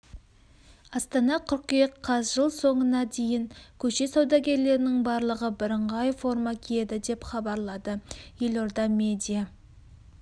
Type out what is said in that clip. астана қыркүйек қаз жыл соңына дейін көше саудагерлерінің барлығы бірыңғай форма киеді деп хабарлады елорда медиа